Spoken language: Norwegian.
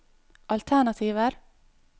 alternativer